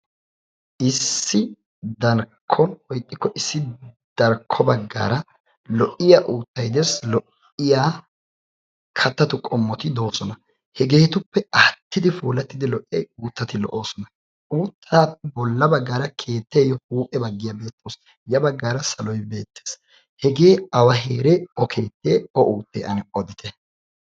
Issi darkko woy ixxiko issi darkko baggara lo''iyaa uuttay dees, lo''iya kattatu qommoti doosona . hegetuppe aattidi puulatidi lo''iyaa uuttati lo''oosona. uutaaa bolla baggara keetteyo huuphe baggay beettees, ya baggara salo beettees. hege awa heere. o keette? o uutte? ane odite.